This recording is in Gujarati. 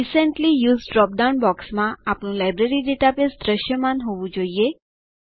રિસેન્ટલી યુઝ્ડ ડ્રોપ ડાઉન બોક્સમાં આપણું લાયબ્રેરી ડેટાબેઝ દૃશ્યમાન હોવું જોઈએ